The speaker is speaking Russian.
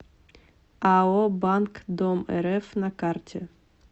ао банк домрф на карте